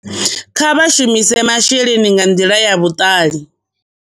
Kha vha shumise masheleni nga nḓila ya vhuṱali